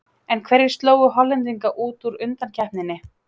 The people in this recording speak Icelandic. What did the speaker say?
En hverjir slógu Hollendinga út úr undankeppninni?